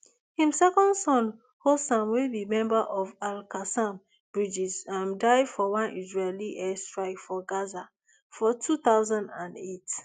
im second son hossam wey be member of alqassam brigades um die for one israeli air strike for gaza for two thousand and eight